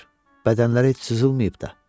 Bədənləri heç sızılmayıb da.